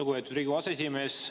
Lugupeetud Riigikogu aseesimees!